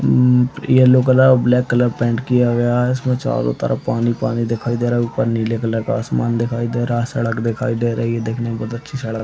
उम् yellow colour और black colour paint किया गया है इसमें चारो तरफ पानी-पानी दिखाई दे रहा है ऊपर नीले कलर का आसमान दिखाई दे रहा है सड़क दिखाई दे रहे है देखने में बहुत अच्छी सड़क--